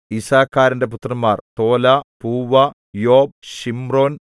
യിസ്സാഖാരിന്റെ പുത്രന്മാർ Tola Puah Job Shimron